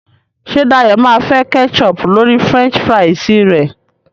ṣe Dayo má fè ketchup lórí french fries re?